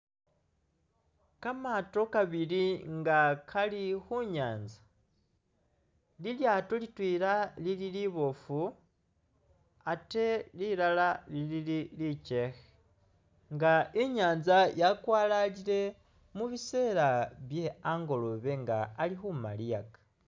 Kamaato kabiili nga kali khu nyaanza, lilyaato litweela lili liboofu ate lilala lili likkhe nga i'nyaanza yakwalalile mu biseela bye angolobe nga ali khumaliyaka.